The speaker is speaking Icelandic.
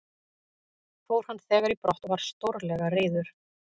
Fór hann þegar í brott og var stórlega reiður.